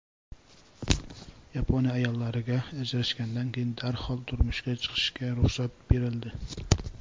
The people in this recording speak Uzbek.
Yaponiya ayollariga ajrashgandan keyin darhol turmushga chiqishga ruxsat berildi.